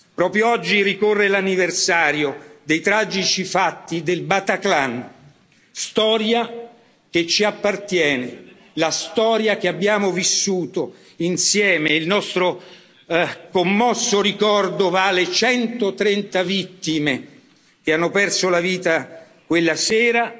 Proprio oggi ricorre l'anniversario dei tragici fatti del Bataclan, storia che ci appartiene, la storia che abbiamo vissuto insieme, e il nostro commosso ricordo va alle 130 vittime che hanno perso la vita quella